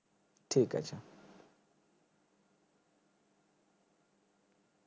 ঠিক আছে